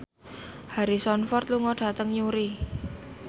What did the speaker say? Harrison Ford lunga dhateng Newry